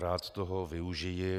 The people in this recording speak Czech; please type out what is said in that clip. Rád toho využiji.